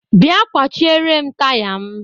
bia kwachierem taya m.